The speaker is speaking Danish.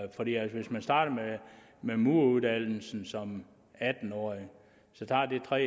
hvis man starter med mureruddannelsen som atten årig tager det tre